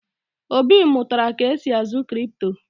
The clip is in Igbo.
Obi mụtara ka esi azụ kripto